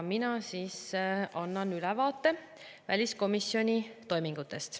Ma annan ülevaate väliskomisjoni toimingutest.